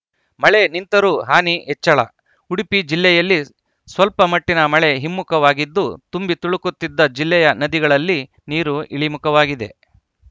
ಮಳೆ ನಿಂತರೂ ಹಾನಿ ಹೆಚ್ಚಳ ಉಡುಪಿ ಜಿಲ್ಲೆಯಲ್ಲಿ ಸ್ವಲ್ಪಮಟ್ಟಿನ ಮಳೆ ಹಿಮ್ಮುಖವಾಗಿದ್ದು ತುಂಬಿ ತುಳುಕುತ್ತಿದ್ದ ಜಿಲ್ಲೆಯ ನದಿಗಳಲ್ಲಿ ನೀರು ಇಳಿಮುಖವಾಗಿದೆ